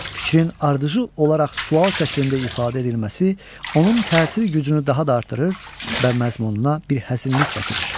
Fikrin ardıcıl olaraq sual şəklində ifadə edilməsi onun təsiri gücünü daha da artırır və məzmununa bir həzinlik gətirir.